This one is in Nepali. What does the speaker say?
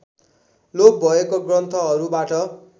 लोप भएको ग्रन्थहरूबाट